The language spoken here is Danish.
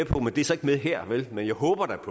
på men det er så ikke med her vel men jeg håber da